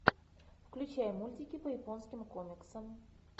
включай мультики по японским комиксам